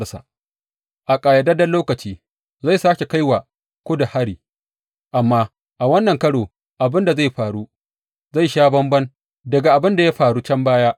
A ƙayyadadden lokaci zai sāke kai wa Kudu hari, amma a wannan karo abin da zai faru zai sha bamban daga abin da ya faru can baya.